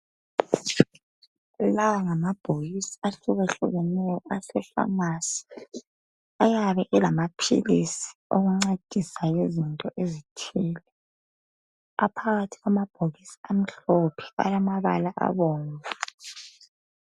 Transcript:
Lawa ngamabhokisi ahlukahlukeneyo ase"pharmacy".Ayabe elamaphilisi ancedisa izinto ezitshiyeneyo aphakathi kwamabhokisi amhlophe alamabala abomvu.